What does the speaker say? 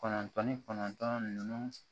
Kɔnɔntɔn ni kɔnɔntɔn ninnu